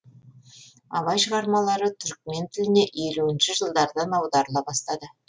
абай шығармалары түрікмен тіліне елуінші жылдардан аударыла бастады